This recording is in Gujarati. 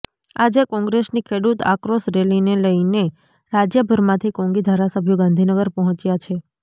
આજે કોંગ્રેસની ખેડૂત આક્રોશ રેલીને લઈને રાજ્યભરમાંથી કોંગી ધારાસભ્યો ગાંધીનગર પહોંચ્યા છે